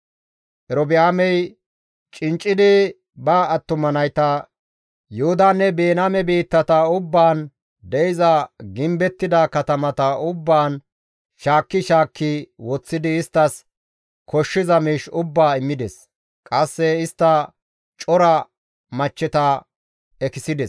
Erobi7aamey cinccidi ba attuma nayta Yuhudanne Biniyaame biittata ubbaan de7iza gimbettida katamata ubbaan shaakki shaakki woththidi isttas koshshiza miish ubbaa immides; qasse istta cora machcheta ekisides.